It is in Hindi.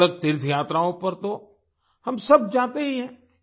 अलगअलग तीर्थ यात्राओं पर तो हम सब जाते ही हैं